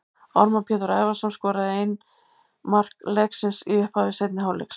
Ármann Pétur Ævarsson skoraði ein mark leiksins í upphafi seinni hálfleiks.